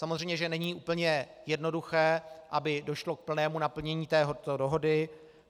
Samozřejmě že není úplně jednoduché, aby došlo k plnému naplnění této dohody.